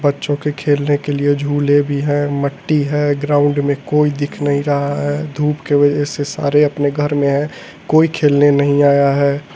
बच्चों के खेलने के लिए झूले भी हैं मट्टी है ग्राउंड में कोई दिख नहीं रहा है धूप के वजह से सारे अपने घर में हैं कोई खेलने नहीं आया है।